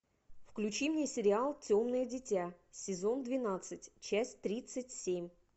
включи мне сериал темное дитя сезон двенадцать часть тридцать семь